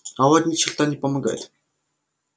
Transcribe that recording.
а вот ни черта не помогает